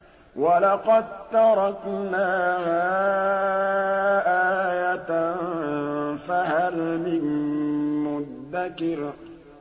وَلَقَد تَّرَكْنَاهَا آيَةً فَهَلْ مِن مُّدَّكِرٍ